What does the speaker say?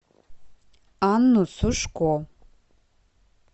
анну сушко